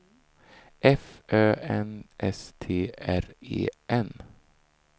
F Ö N S T R E N